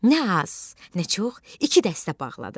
Nə az, nə çox, iki dəstə bağladı.